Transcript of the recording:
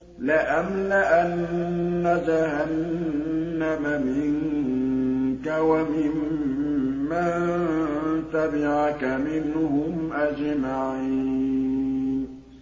لَأَمْلَأَنَّ جَهَنَّمَ مِنكَ وَمِمَّن تَبِعَكَ مِنْهُمْ أَجْمَعِينَ